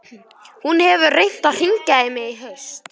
Hún hefur reynt að hringja í mig í haust.